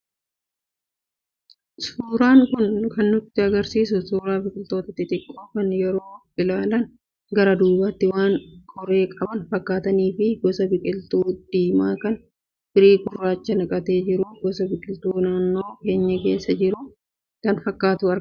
Suuraan kun kan nu argisiisu, suuraa biqiltoota xixiqqoo kan yoo ilaalan gara duubaatti waan qoree qaban fakkaataniifi gosa biqiltuu diimaa kan firii gurraacha naqatee jiru, gosa biqiltuu naannoo keenyaa keessaa goraa kan fakkaatutu argama.